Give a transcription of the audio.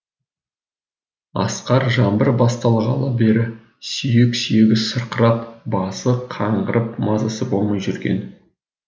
асқар жаңбыр басталғалы бері сүйек сүйегі сырқырап басы қаңғырып мазасы болмай жүрген